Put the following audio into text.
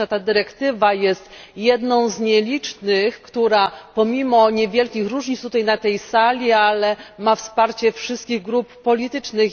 Myślę, że ta dyrektywa jest jedną z nielicznych, która pomimo niewielkich różnic zdań tutaj na tej sali, ma wsparcie wszystkich grup politycznych.